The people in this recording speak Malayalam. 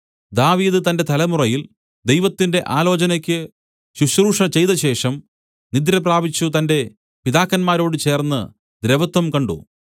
ദാവീദ് തന്റെ തലമുറയിൽ ദൈവത്തിന്റെ ആലോചനയ്ക്ക് ശുശ്രൂഷ ചെയ്തശേഷം നിദ്രപ്രാപിച്ചു തന്റെ പിതാക്കന്മാരോട് ചേർന്ന് ദ്രവത്വം കണ്ട്